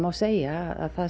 segja að það